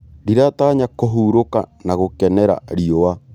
Ndĩratanya kũhurũka na gũkenera riũa.